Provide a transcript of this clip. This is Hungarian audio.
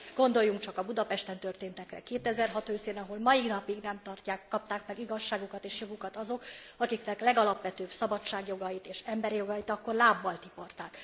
Gondoljunk csak a Budapesten történtekre 2006 őszén, ahol a mai napig nem kapták meg igazságukat és jogukat azok, akiknek legalapvetőbb szabadságjogait és emberi jogait akkor lábbal tiporták.